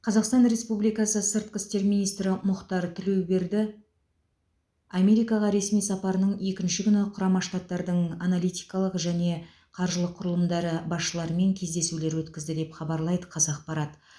қазақстан республикасы сыртқы істер министрі мұхтар тілеуберді америкаға ресми сапарының екінші күні құрама штаттардың аналитикалық және қаржылық құрылымдары басшыларымен кездесулер өткізді деп хабарлайды қазақпарат